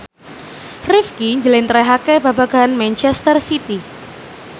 Rifqi njlentrehake babagan manchester city